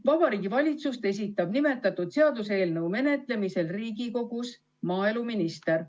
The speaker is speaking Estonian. Vabariigi Valitsust esindab nimetatud seaduseelnõu menetlemisel Riigikogus maaeluminister.